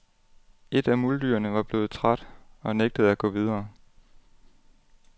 Et af muldyrene var blevet træt og nægtede at gå videre.